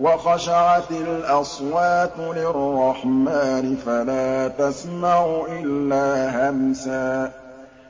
وَخَشَعَتِ الْأَصْوَاتُ لِلرَّحْمَٰنِ فَلَا تَسْمَعُ إِلَّا هَمْسًا